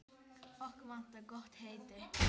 Okkur vantar gott heiti.